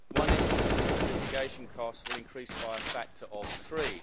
One estimate is that litigation costs will increase by a factor of three.